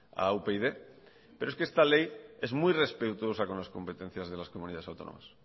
a upyd pero es que esta ley es muy respetuosa con las competencias de las comunidades autónomas